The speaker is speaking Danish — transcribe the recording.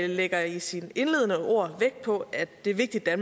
lægger i sine indledende ord vægt på at det er vigtigt at